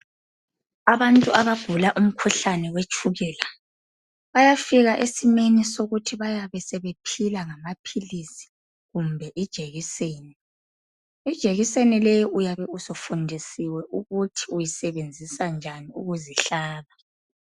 Abantu abagula umkhuhlane wetshukela, bayafika esimeni sokuthi bayabe sebephila ngamaphilisi kumbe ijekiseni. Ijekiseni leyi uyabe usufundisiwe ukuthi uyisebenzisa njani ukuzihlaba.